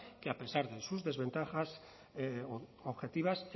que a pesar de sus desventajas objetivas